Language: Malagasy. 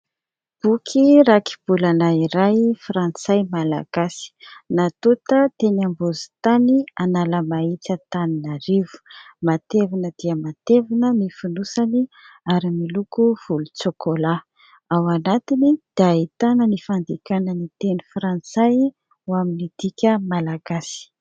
boky rakibolana iray frantsay malagasy ;natonta teny am-bozintany Analamahitsy Antananarivo; matevina dia matevina ny fonosany ary miloko volon-tsokola; ao anatiny dia ahitana ny fandikana ny teny frantsay ho amin'ny dika malagasy